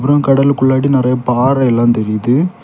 அப்புறம் கடலுக்குள்ளாடி நெறைய பாறைலாம் தெரியுது.